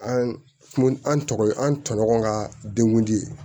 An an tɔgɔ an tɔɲɔgɔn ka denkundi